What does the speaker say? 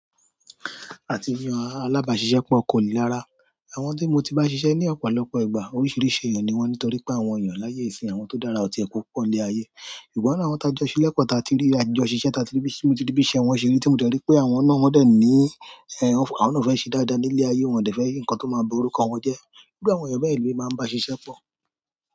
Àti ri alábàásisẹ́pọ̀ kò le rára. Àwọn tí mo tó bá ṣiṣẹ́ ní ọ̀pọ̀ ìgbà, oríṣiríṣi ènìyàn ni wọ́n, nítorí pé àwọn ènìyàn ní àyè ìsin, àwọn tó dára ò pọ̀ ní ayé ìwọ̀ lánàá àwọn tá jọ ṣílẹ̀ kan ta tí rí, àjọ ṣíṣe ta tí rí bí, tí mo ti rí bí iṣẹ́ wọn ṣe rí tí mo ti rí pé àwọn na wọn dẹ̀ ní, ẹ́, àwọn náà fẹ́ ṣe dáadáa ní ilé ayé, wọ́n dẹ̀ fẹ́ nkan tó máa ba orúkọ wọn jẹ́. Gẹ́gẹ́ bí àwọn èèyàn bẹ́ẹ̀ le mi máa ń bá ṣiṣẹ́ pọ̀.